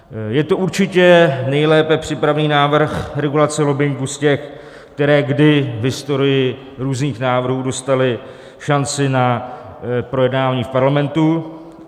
Je to určitě nejlépe připravený návrh regulace lobbingu z těch, které kdy v historii různých návrhů dostaly šanci na projednání v Parlamentu.